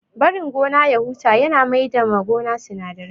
Barin gona ya huta ya na maida ma gona sinadarai